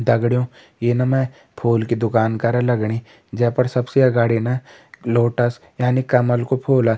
दगड़ियों ये न में फूल की दुकान करा लगणी जैपर सबसे अगाडि ना लोटस यानि कमल का फूला।